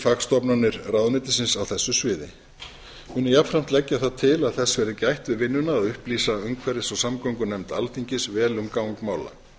fagstofnanir ráðuneytisins á þessu sviði mun ég jafnframt leggja það til að þess verði gætt við vinnuna að upplýsa umhverfis og samgöngunefnd alþingis vel um gang mála